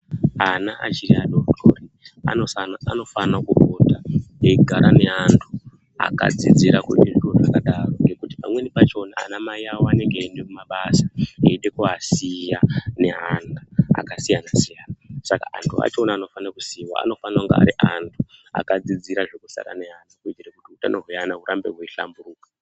Ana achiri adoodori anofanire kupota eigara neantu akadzidzira kuite zviro zvakadaro ngekuti pamweni pachona anamai awo anenge eiende kumabasa eide kuvasiya neantu akasiyana siyana saka antu achona anofane kusiiwa anofana kunge ari antu akadzidzira zvekusara nevana kuitire kuti utano hwevana hurambe hweihlamburuka.